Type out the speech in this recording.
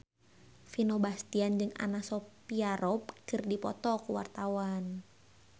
Vino Bastian jeung Anna Sophia Robb keur dipoto ku wartawan